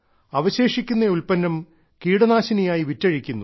അവശേഷിക്കുന്ന ഉൽപ്പന്നം കീടനാശിനിയായി വിറ്റഴിക്കുന്നു